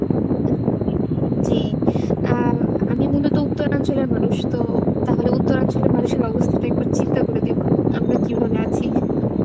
জি আহ আমি মূলত উত্তরাঞ্চলের মানুষ তো তাহলে উত্তরাঞ্চলের মানুষের অবস্থাটা একবার চিন্তা করে দেখুন আমরা কীভাবে আছি।